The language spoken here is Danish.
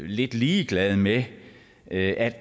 lidt ligeglade med at